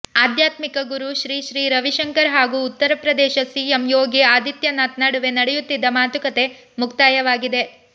ಆಧ್ಯಾತ್ಮಿಕ ಗುರು ಶ್ರೀ ಶ್ರೀ ರವಿಶಂಕರ್ ಹಾಗೂ ಉತ್ತರ ಪ್ರದೇಶ ಸಿಎಂ ಯೋಗಿ ಆದಿತ್ಯನಾಥ್ ನಡುವೆ ನಡೆಯುತ್ತಿದ್ದ ಮಾತುಕತೆ ಮುಕ್ತಾಯವಾಗಿದೆ